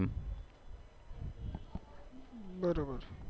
બરોબર